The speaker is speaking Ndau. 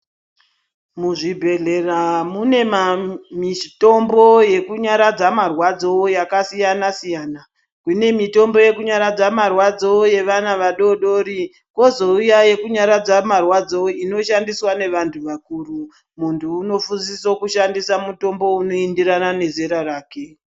Muzvibhehlera mune mitombo yekunyaradza marwadzo yakasiyana-siyana. Kune mitombo yekunyaradza marwadzo yevana vadodori kozouya mitombo yekunyaradza marwadzo inoshandiswa nevantu vakuru. Muntu unosisa kushandisa mutombo unoenderana nezera rake.